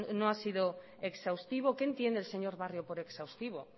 no ha sido exhaustivo qué entiende el señor barrio por exhaustivo